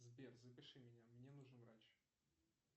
сбер запиши меня мне нужен врач